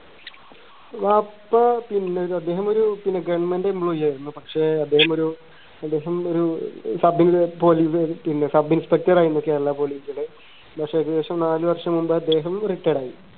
വാപ്പ പിന്നെ ഒരു അദ്ദേഹം ഒരു പിന്നെ government employee ആയിരുന്നു പക്ഷേ അദ്ദേഹം ഒരു ഏകദേശം ഒരു sub police പിന്നെ sub inspector ആയിരുന്നു കേരള police ല് ഏകദേശം നാല് വർഷം മുമ്പ് അദ്ദേഹം retired ആയി